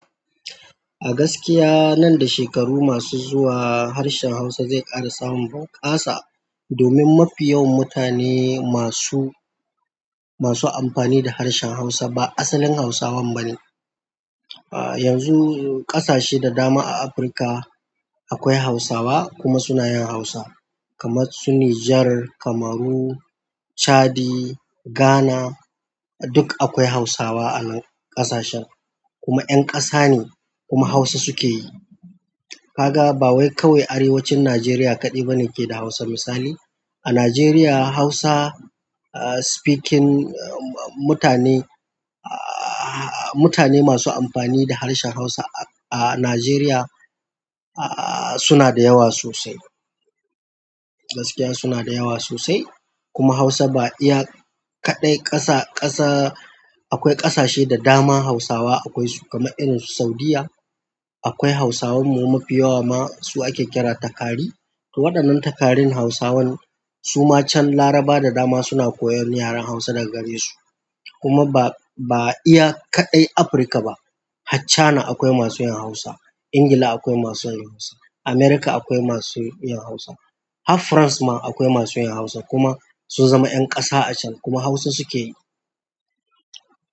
A gaskiya nan da shekaru masu zuwa harshen Hausa zai ƙara samun bunƙasa domin mafi yawan mutane masu, masu amfani da harshen Hausa ba asalin Hausawan bane. A yanzu ƙasashe da dama a Afirka akwai Hausawa kuma suna yin Hausa kamar su Nijar, Kamaru, Chadi, Ghana duk akwai Hausawa a nan ƙasashen kuma 'yan ƙasa ne kuma Hausa suke yi. Ka ga ba wai kawai arewacin Najeriya kaɗai bane ke da Hausa. Misali, a Najeriya Hausa ah speaking mutane, mutane masu amfani da harshen Hausa a Najeriya ah suna da yawa sosai. Gaskiya suna da yawa sosai kuma Hausa ba iya kaɗai ƙasa, ƙasa akwai ƙasashe da dama Hausawa akwai su kamar irin su Saudiyya akwai Hausawan mu mafi yawa ma su ake kira takari. Waɗannan takarin Hausawan su ma can laraba da dama suna koyan yaren Hausa da gare su. Kuma ba, ba iya kaɗai Afirka ba. Har china akwai masu yin Hausa, Ingila akwai masu yin Hausa, Amurka akwai masu yin Hausa, har France ma akwai masu yin Hausa kuma sun zama 'yan ƙasa a can kuma Hausa suke yi.